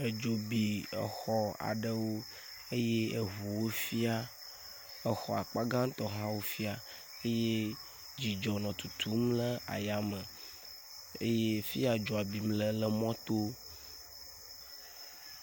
Edzo bi exɔ aɖewo eye eʋuwo fia, exɔ akpa gãtɔ hã wofia eye dzidzɔ nɔ tutum le aya me, eye fia dzoa bim le lé emɔto.